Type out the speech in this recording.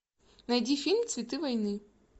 найди фильм цветы войны